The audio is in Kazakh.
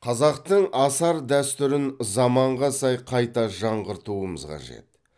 қазақтың асар дәстүрін заманға сай қайта жаңғыртуымыз қажет